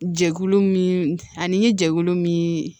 Jɛkulu min ani n ye jɛkulu min